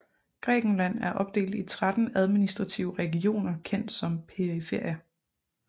Grækenland er opdelt i 13 administrative regioner kendt som periferier